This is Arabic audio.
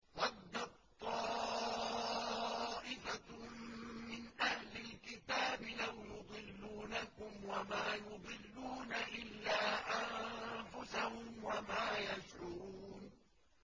وَدَّت طَّائِفَةٌ مِّنْ أَهْلِ الْكِتَابِ لَوْ يُضِلُّونَكُمْ وَمَا يُضِلُّونَ إِلَّا أَنفُسَهُمْ وَمَا يَشْعُرُونَ